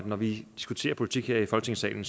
når vi diskuterer politik her i folketingssalen